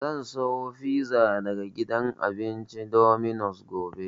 Zan saya fiza daga gidan cin abinci Dominos gobe